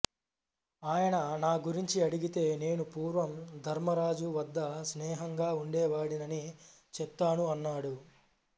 ఆయన నా గురించి అడిగితే నేను పూర్వం ధర్మరాజు వద్ద స్నేహంగా ఉండేవాడినని చెప్తాను అన్నాడు